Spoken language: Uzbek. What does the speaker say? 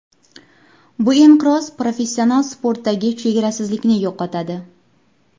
Bu inqiroz professional sportdagi chegarasizlikni yo‘qotadi.